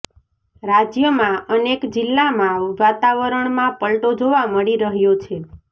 રાજ્યમાં અનેક જિલ્લામાં વાતાવરણમાં પલટો જોવા મળી રહ્યો છે